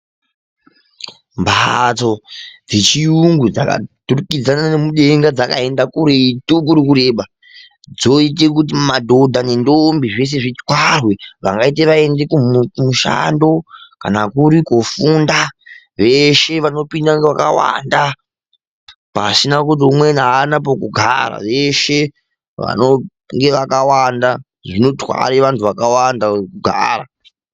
Mbatso dzechirungu dzakaturikidzana mudenga dzichienda kuri kureba. Dzoita kuti madhodha nendombi zvese zvitwarwe vangati vaenda kumushando kana kuri kofunda, veshe vanopinda vakawanda vasina kuti umweni hana pekugara. Veshe vanenge vakawanda zvinotwara vantu vakawanda kuti vagare.